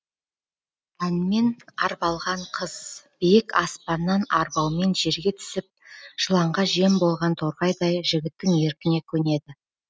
әнмен арбалған қыз биік аспаннан арбаумен жерге түсіп жыланға жем болған торғайдай жігіттің еркіне көнеді